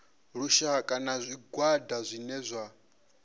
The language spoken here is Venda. lushaka na zwigwada zwine zwa